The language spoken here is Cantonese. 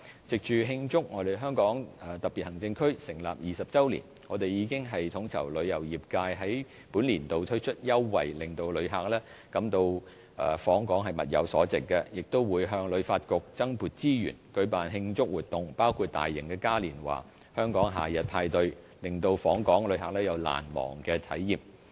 藉着慶祝香港特別行政區成立20周年，我們已統籌旅遊業界在本年度推出優惠，令旅客感到訪港物有所值，亦會向旅發局增撥資源，舉辦慶祝活動，包括大型嘉年華"香港夏日派對"，令訪港旅客有難忘的體驗。